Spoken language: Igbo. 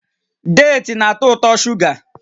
Deeti na-atọ ụtọ shuga